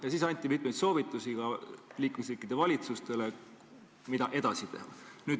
Dokumendis anti mitmeid soovitusi ka liikmesriikide valitsustele, mida edasi teha.